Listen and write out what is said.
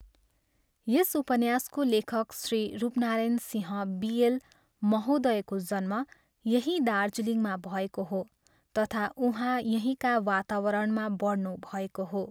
यस उपन्यासको लेखक श्री रूपनारायण सिंह बी.एल., महोदयको जन्म यहीँ दार्जिलिङमा भएको हो तथा उहाँ यहीँका वातावरणमा बढ्नु भएको हो।